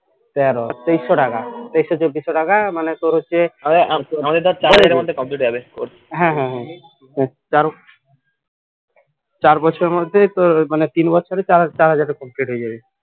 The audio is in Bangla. তেরো তেইশশো টাকা তেইশশো চব্বিশ টাকা মানে তোর হচ্ছে চার বছরের মধ্যেই মানে তিন বছরে চার হাজার টাকা complete হয়ে যাবে